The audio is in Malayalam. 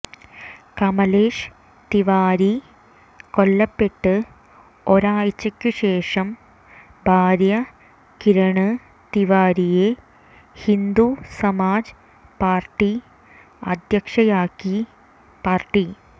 കമലേഷ് തിവാരി കൊല്ലപ്പെട്ട് ഒരാഴ്ചയ്ക്ക് ശേഷം ഭാര്യ കിരണ് തിവാരിയെ ഹിന്ദു സമാജ് പാര്ട്ടി അധ്യക്ഷയാക്കി പാര്ട്ടി